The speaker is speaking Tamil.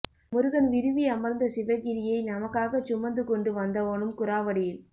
முருகன் விரும்பி அமர்ந்த சிவகிரியை நமக்காகச் சுமந்து கொண்டு வந்தவனும் குராவடியில்